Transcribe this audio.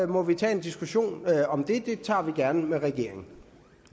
må vi tage diskussionen om det den tager vi gerne med regeringen